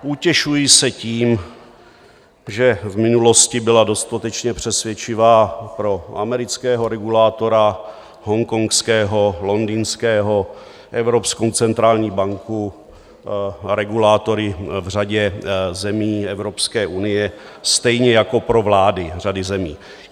Utěšuji se tím, že v minulosti byly dostatečně přesvědčivé pro amerického regulátora, hongkongského, londýnského, Evropskou centrální banku, regulátory v řadě zemí Evropské unie, stejně jako pro vlády řady zemí.